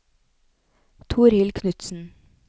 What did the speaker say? Torhild Knudsen